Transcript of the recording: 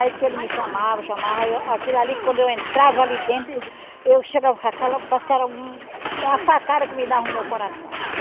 Aí diz que ele me chamava, chamava eu... Aquilo ali, quando eu entrava ali dentro, eu chegava com aquela... Parece que era uma facada que me dava no meu coração.